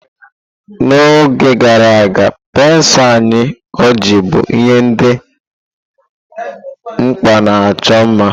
N'oge gara aga, pensụl anya ojii bụ ihe dị mkpa na icho mma.